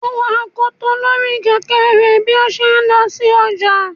o wo akotò Lori Kẹkẹ rẹ bi o ṣe n lo sí ojá